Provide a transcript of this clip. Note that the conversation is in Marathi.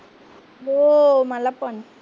हो मला पण.